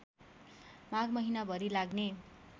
माघ महिनाभरि लाग्ने